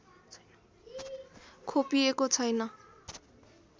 खोपिएको छैन